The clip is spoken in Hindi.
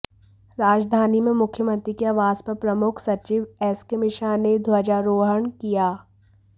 राजधानी में मुख्यमंत्री के आवास पर प्रमुख सचिव एसके मिश्रा ने ध्वजारोहण किया